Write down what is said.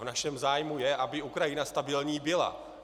V našem zájmu je, aby Ukrajina stabilní byla.